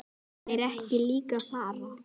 Myndu þeir ekki líka fara?